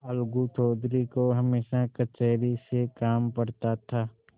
अलगू चौधरी को हमेशा कचहरी से काम पड़ता था